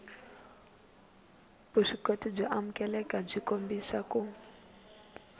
vuswikoti byo amukeleka byi kombisa